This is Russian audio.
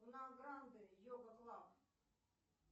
на гранде йога клаб